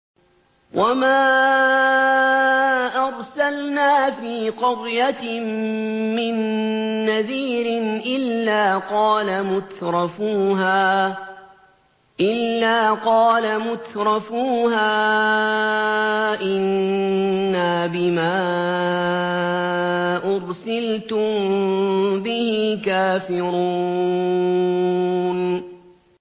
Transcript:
وَمَا أَرْسَلْنَا فِي قَرْيَةٍ مِّن نَّذِيرٍ إِلَّا قَالَ مُتْرَفُوهَا إِنَّا بِمَا أُرْسِلْتُم بِهِ كَافِرُونَ